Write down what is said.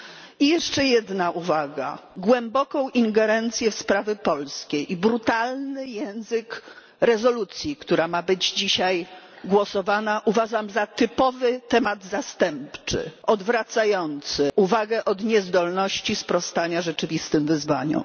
I jeszcze jedna uwaga głęboką ingerencję w sprawy polskie i brutalny język rezolucji, która ma być dzisiaj poddana pod głosowanie, uważam za typowy temat zastępczy, odwracający uwagę od niezdolności sprostania rzeczywistym wyzwaniom.